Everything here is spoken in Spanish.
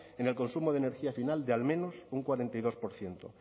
en el consumo de energía final de al menos un cuarenta y dos por ciento